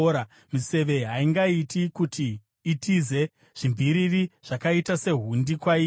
Miseve haingaiti kuti itize; zvimviriri zvakaita sehundi kwairi.